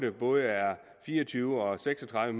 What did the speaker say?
er både fire og tyve og seks og tredive